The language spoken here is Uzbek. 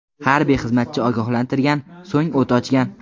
Harbiy xizmatchi ogohlantirgan, so‘ng o‘t ochgan.